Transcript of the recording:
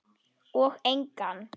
Og engan.